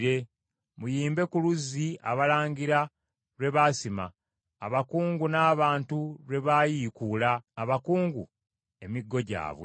Muyimbe ku luzzi abalangira lwe baasima, abakungu n’abantu lwe baayiikuula, abakungu, emiggo gyabwe.”